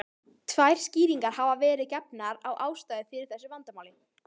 Tvær skýringar hafa verið gefnar á ástæðu fyrir þessu vandamáli.